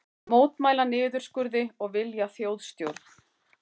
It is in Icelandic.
Mótmæla niðurskurði og vilja þjóðstjórn